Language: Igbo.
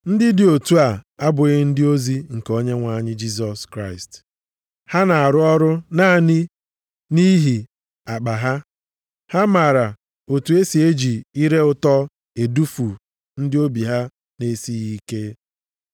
Ndị dị otu a abụghị ndị ozi nke Onyenwe anyị Jisọs Kraịst. Ha na-arụ naanị nʼihi akpa ha. Ha maara otu e si eji ire ụtọ edufu ndị obi ha na-esighị ike.